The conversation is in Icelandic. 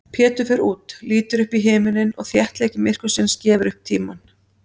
Pétur fer út, lítur upp í himininn og þéttleiki myrkursins gefur upp tímann.